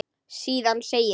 Síðan segir: